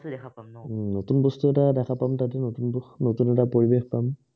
নতুন বস্তু দেখা পাম হুম নতুন বস্তু এটা দেখা পাম তাতও নতুন এটা পৰিবেশ পাম